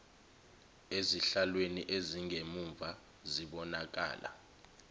ezihlalweni ezingemumva zibonakala